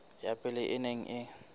ya pele e neng e